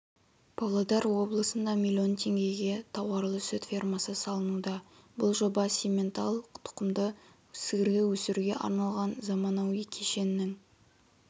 павлодар облысында млн теңгеге тауарлы-сүт фермасы салынуда бұл жоба симментал тұқымдас сиырды өсіруге арналған заманауи кешеннің